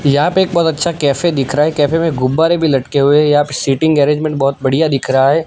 यहां पे एक बहोत अच्छा कैफे दिख रहा है कैफे में गुब्बारे भी लटके हुए हैं यहां पे सीटिंग अरेंजमेंट बहोत बढ़िया दिख रहा है।